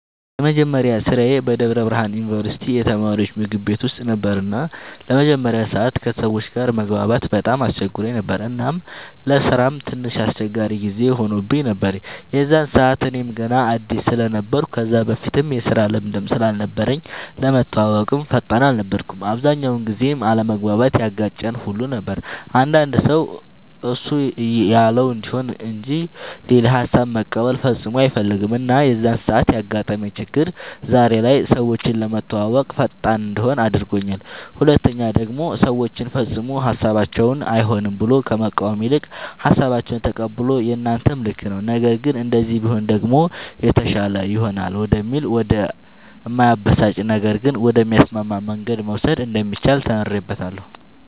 የመጀመሪያ ስራዬ በደብረ ብርሃን ዩንቨርስቲ የተማሪወች ምግብ ቤት ውስጥ ነበር እና ለመጀመሪያ ሰዓት ከሰወች ጋር መግባባት በጣም አስቸግሮኝ ነበር እናም ለስራም ትንሽ አስቸጋሪ ጊዜ ሆኖብኝ ነበር የዛን ሰዓት እኔም ገና አድስ ስለነበርኩ ከዛ በፊትም የስራ ልምድም ስላልነበረኝ ለመተወወቅም ፈጣን አልነበርኩም። አብዛኛውን ጊዜም አለመግባባት ያጋጨን ሁሉ ነበር አንዳንድ ሰው እሱ ያለው እንዲሆን እንጅ ሌላ ሃሳብ መቀበል ፈፅሞ አይፈልግም እና የዛን ሰዓት ያጋጠመኝ ችግር ዛሬ ላይ ሰወችን ለመተወወቅ ፈጣን እንድሆን አድርጎኛል ሁለተኛ ደሞ ሰወችን ፈፅሞ ሀሳባቸውን አይሆንም ብሎ ከመቃወም ይልቅ ሃሳባቸውን ተቀብሎ የናንተም ልክ ነዉ ነገር ግን እንደዚህ ቢሆን ደሞ የተሻለ ይሆናል ወደሚል ወደ እማያበሳጭ ነገር ግን ወደሚያስማማ መንገድ መውሰድ እንደሚቻል ተምሬበታለሁ።